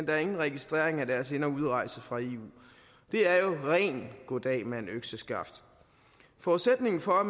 der er ingen registrering af deres ind og udrejse fra eu det er jo ren goddag mand økseskaft forudsætningen for at